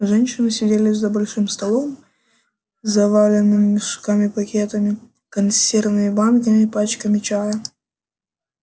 женщины сидели за большим столом заваленным мешками пакетами консервными банками пачками чая